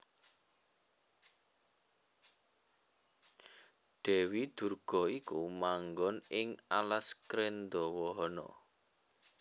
Dèwi Durga iku manggon ing alas Krendhawahana